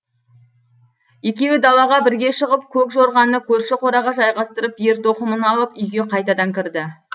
екеуі далаға бірге шығып көк жорғаны көрші қораға жайғастырып ер тоқымын алып үйге қайтадан кірді